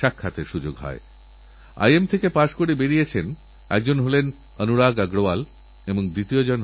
রাজস্থানএক মরুভূমির রাজ্য এতবড় বনমহোৎসব পালন করেছে এবং পঁচিশ লক্ষ চারা লাগানোরসংকল্প নিয়েছে